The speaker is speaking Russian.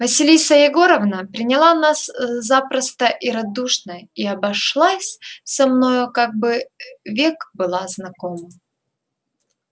василиса егоровна приняла нас запросто и радушно и обошлась со мною как бы век была знакома